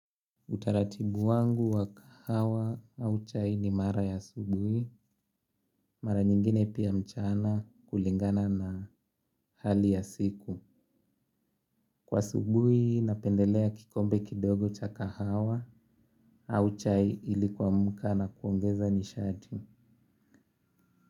Utaratibu wangu wa kahawa au chai ni mara ya asubuhi, mara nyingine pia mchana kulingana na hali ya siku. Kwa asubuhi napendelea kikombe kidogo cha kahawa au chai ili kuamka na kuongeza nishati.